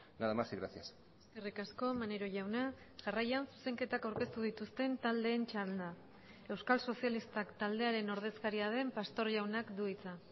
nada mas y gracias eskerrik asko maneiro jauna jarraian zuzenketak aurkeztu dituzten taldeen txanda euskal sozialistak taldearen ordezkaria den pastor jaunak du hitza